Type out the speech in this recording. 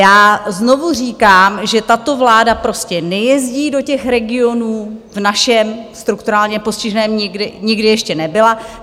Já znovu říkám, že tato vláda prostě nejezdí do těch regionů, v našem strukturálně postiženém nikdy ještě nebyla.